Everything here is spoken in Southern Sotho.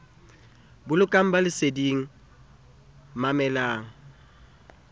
bolokang ba le leseding mamelang